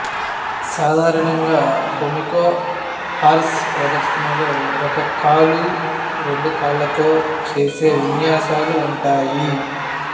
సాధారణంగా pommel horse ప్రదర్శనలో ఒక కాలు రెండు కాళ్ళతో చేసే విన్యాసాలు ఉంటాయి